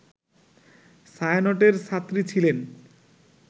ছায়ানটের ছাত্রী ছিলেন